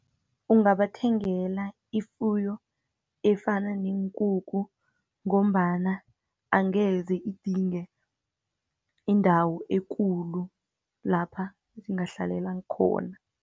Ungabathengela ifuyo efana neenkuku, ngombana angeze idinge indawo ekulu lapha zingahlalela khona.